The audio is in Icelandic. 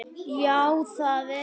Já það er ég